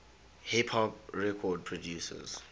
hip hop record producers